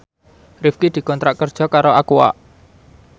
Rifqi dikontrak kerja karo Aqua